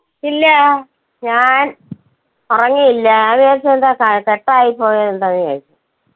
ഇല്ല ഞാൻ ഉറങ്ങിയില്ല ഞാൻ വിചാരിച്ചു എന്താ ക~ cut യി പോയെ എന്താന്ന് വിചാരിച്ചു.